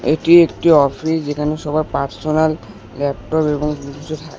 এটি একটি অফিস যেখানে সবার পার্সোনাল ল্যাপটপ এবং থাকে।